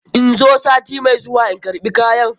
In zo sati mai zuwa na karɓi kayan?